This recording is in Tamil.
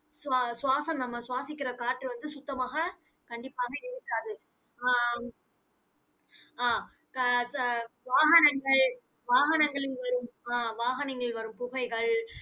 சுவா~ சுவாசம் நம்ம சுவாசிக்கிற காற்று வந்து, சுத்தமாக கண்டிப்பாக இருக்காது ஆஹ் அஹ் க~ க~ வாகனங்கள் வாகனங்களில் வரும் ஆஹ் வாகனங்களில் வரும் புகைகள்